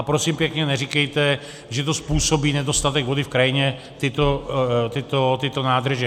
A prosím pěkně, neříkejte, že to způsobí nedostatek vody v krajině, tyto nádrže.